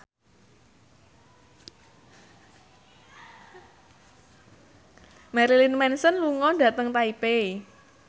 Marilyn Manson lunga dhateng Taipei